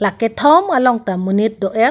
kethom along ta monit do et.